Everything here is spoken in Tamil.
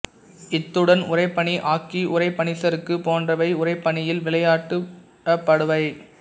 இத்துடன் உறைபனி ஹாக்கி உறை பனிச்சருக்கு போன்றவை உறைபனியில் விளையாடப்படுபவை